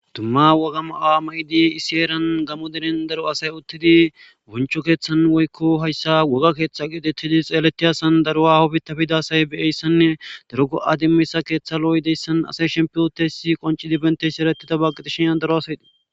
dumma woga ma awa maydi isieeran gamo derin daro asay uttidi buncho keeththan woykko hayssa woga keeththa gidettidi xeeleti asan darua hobita bida say beyeyssanne darugo7adimmisa keeththa lo7oy deyssan asay shempiyotesi qonci dibentesi ereti dabagqidishinyan daro asaydii